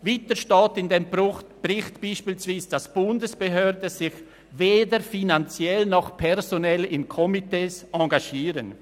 Weiter steht in dem Bericht beispielsweise, dass die Bundesbehörden sich weder finanziell noch personell in Komitees engagieren.